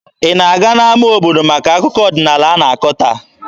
Ị na-aga n'ama obodo maka akụkọ ọdịnaala a na-akọ taa?